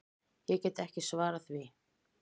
Ég get ekki svarað því.